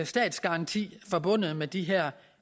statsgaranti forbundet med de her